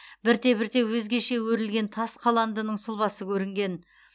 бірте бірте өзгеше өрілген тас қаландының сұлбасы көрінген